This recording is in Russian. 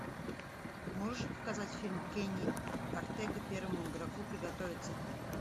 можешь показать фильм кенни ортега первому игроку приготовиться